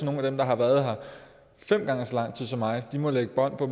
nogle af dem der har været her fem gange så lang tid som mig må lægge bånd på